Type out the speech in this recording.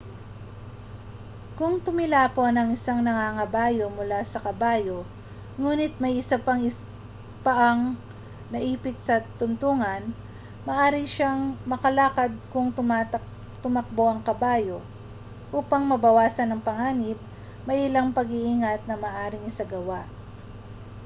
kung tumilapon ang isang nangangabayo mula sa kabayo ngunit may isa isang paang naipit sa tuntungan maaari siyang makaladkad kung tumakbo ang kabayo upang mabawasan ang panganib may ilang pang-iingat na maaaring isagawa